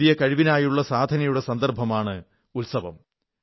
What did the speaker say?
ആ പുതിയ കഴിവിനായുള്ള സാധനയുടെ സന്ദർഭമാണ് ഉത്സവം